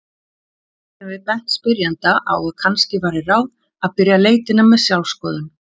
Þó getum við bent spyrjanda á að kannski væri ráð að byrja leitina með sjálfsskoðun.